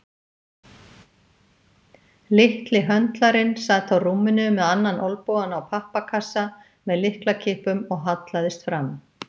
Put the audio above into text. Litli höndlarinn sat á rúminu með annan olnbogann á pappakassa með lyklakippum og hallaðist fram.